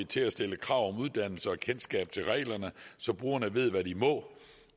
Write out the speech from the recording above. til at stille krav om uddannelse og kendskab til reglerne så brugerne ved hvad de må